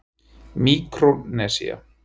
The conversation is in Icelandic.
Míkrónesía